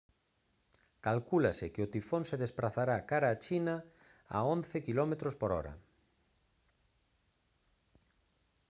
calcúlase que o tifón se desprazará cara a china a 11 kph